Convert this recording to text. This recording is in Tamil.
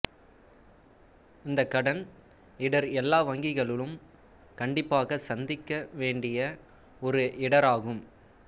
இந்த கடன் இடர் எல்லா வங்கிகளும் கண்டிப்பாக சந்திக்க வேண்டிய ஒரு இடராகும்